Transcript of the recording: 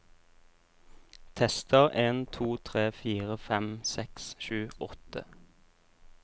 Tester en to tre fire fem seks sju åtte